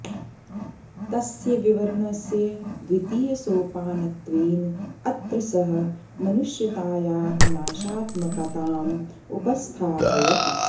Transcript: तस्य विवरणस्य द्वितीयसोपानत्वेन अत्र सः मनुष्यतायाः नाशात्मकताम् उपस्थापयति